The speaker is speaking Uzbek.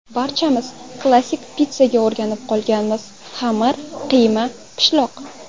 Barchamiz klassik pitssaga o‘rganib qolganmiz xamir, qiyma, pishloq.